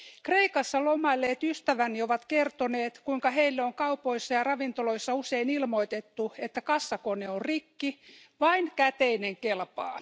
Kreikassa lomailleet ystäväni ovat kertoneet, kuinka heille on kaupoissa ja ravintoloissa usein ilmoitettu, että kassakone on rikki ja vain käteinen kelpaa.